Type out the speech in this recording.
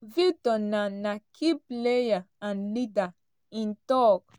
“victor na na key player and leader” im tok.